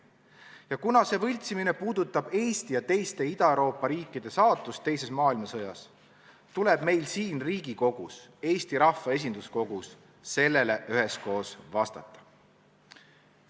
Ja kuna see võltsimine puudutab Eesti ja teiste Ida-Euroopa riikide saatust teises maailmasõjas, tuleb meil siin Riigikogus, Eesti rahva esinduskogus, sellele üheskoos vastata.